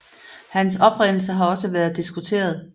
Hans oprindelse har også været diskuteret